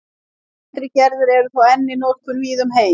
Eldri gerðir eru þó enn í notkun víða um heim.